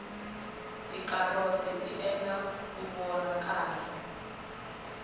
ticaroti ti endla uvona kahle